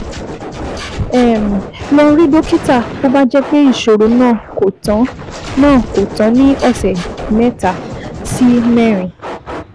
um Lọ rí dókítà bó bá jẹ́ pé ìṣòro náà kò tán náà kò tán ní ọ̀sẹ̀ mẹ́ta sí mẹ́rin